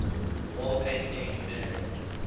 wall painting experienced